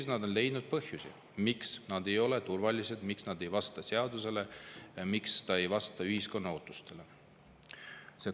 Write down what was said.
Ju nad on leidnud põhjusi, miks need ei ole turvalised, miks need ei vasta seadusele, miks need ei vasta ühiskonna ootustele.